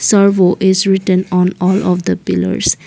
servo is written on all of the pillars.